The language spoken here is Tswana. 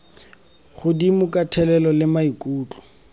godimo ka thelelo le maikutlo